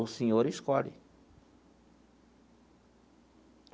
O senhor escolhe.